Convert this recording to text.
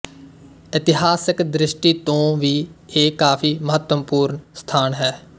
ਇਤਿਹਾਸਕ ਦ੍ਰਿਸ਼ਟੀ ਤੋਂ ਵੀ ਇਹ ਕਾਫ਼ੀ ਮਹੱਤਵਪੂਰਨ ਸਥਾਨ ਹੈ